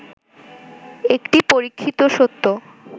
একটি পরীক্ষিত সত্য